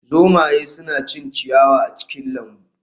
Zomaye suna cin ciyawa a cikin lambu